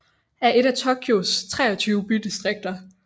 er et af Tokyos 23 bydistrikter